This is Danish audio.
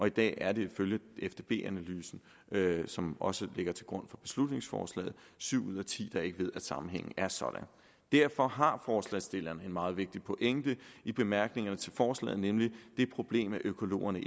i dag er det ifølge fdb analysen som også ligger til grund for beslutningsforslaget syv ud af ti der ikke ved at sammenhængen er sådan derfor har forslagsstillerne en meget vigtig pointe i bemærkningerne til forslaget nemlig det problem at økologerne